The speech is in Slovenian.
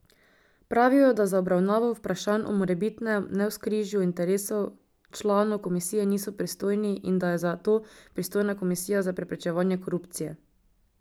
Pravijo, da za obravnavo vprašanj o morebitnem navzkrižju interesov članov komisije niso pristojni in da je za to pristojna Komisija za preprečevanje korupcije.